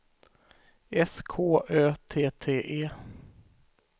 S K Ö T T E